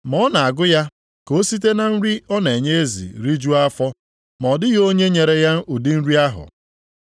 Ma ọ na-agụ ya ka o site na nri ọ na-enye ezi rijuo afọ, ma ọ dịghị onye nyere ya ụdị nri ahụ.